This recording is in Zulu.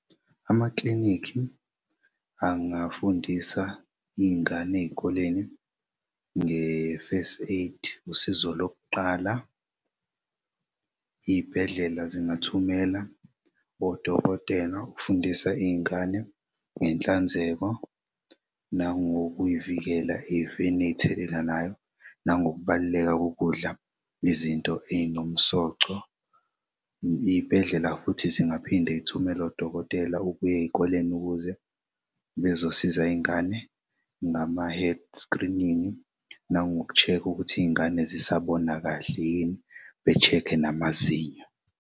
Amaklinikhi angafundisa iy'ngane ey'koleni nge-first aid usizo lokuqala. Iy'bhedlela zingathumela odokotela ukufundisa iy'ngane ngenhlanzeko nangokuy'vikela efeni ey'thelelanayo nangokubaluleka kokudla izinto ezinomsoco. Iy'bhedlela futhi zingaphinde zithumele odokotela ukuy'ey'koleni ukuze bezosiza iy'ngane ngama head screening nangoku check-kha ukuthi iy'ngane zisabona kahle yini be-check-khe namazinyo.